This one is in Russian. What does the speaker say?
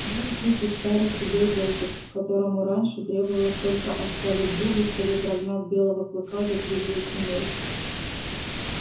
был здесь и старый седой бэсик которому раньше требовалось только оскалить зубы чтобы прогнать белого клыка за тридевять земель